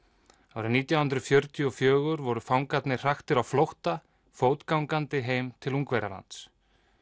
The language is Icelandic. árið nítján hundruð fjörutíu og fjögur voru fangarnir hraktir á flótta fótgangandi heim til Ungverjalands